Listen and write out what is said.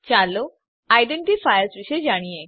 ચાલો આઇડેન્ટિફાયર્સ વિશે જાણીએ